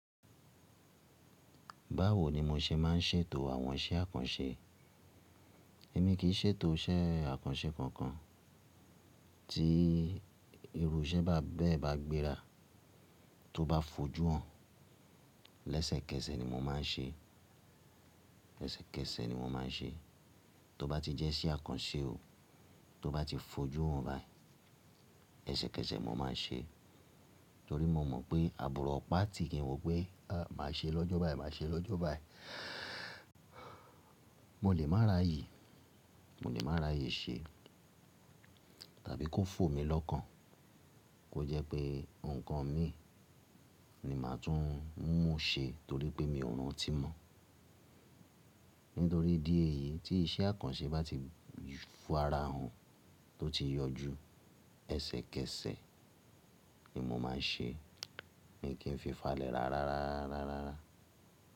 Báwo ni mo ṣe má ń ṣètò àwọn iṣẹ́ àkànṣe? Èmi kìí ṣètò iṣẹ́ àkànṣe kankan, tí irú iṣẹ́ bá be, bá gbéra tó bá fojú hàn, lẹ́sẹ̀kẹsẹ̀ ni mo má n ṣe. Lẹ́sẹ̀kẹsẹ̀ ni mo má n ṣe. Tó bá ti jẹ́ iṣẹ́ àkànṣe o, tó bá ti fojú hàn báyìí, ẹsẹkẹsẹ mo má n ṣe torí mo mọ̀ pé àbúrò ọ̀pá tí, kìn wo pé má ṣe lọ́jọ́ báyìí, má ṣe lọ́jọ́ báyìí. Mo lè má raye, mo lè má raye ṣe tàbí kó fò mi lọ́kàn kó jẹ́ pé nǹkan mi ni màá tún mú ṣẹ torí pé mi ò rántí mọ́. Nítorí ìdí èyí tí iṣẹ́ àkànṣe bá ti, fara hàn, tó ti yọjú, ẹsẹkẹsẹ ni mo ma ṣe. Èmi kìn fi fàlẹ́ rà rárá.